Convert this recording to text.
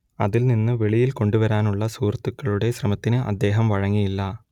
അതിൽ നിന്ന് വെളിയിൽ കൊണ്ടുവരാനുള്ള സുഹൃത്തുക്കളുടെ ശ്രമത്തിന് അദ്ദേഹം വഴങ്ങിയില്ല